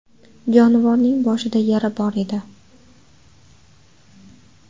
Jonivorning boshida yara bor edi.